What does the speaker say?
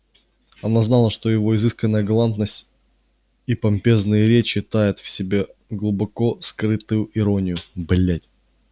она знала что его изысканная галантность и помпезные речи таят в себе глубоко скрытую иронию блять